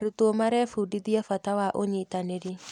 Arutwo marebundithia bata wa ũnyitanĩri.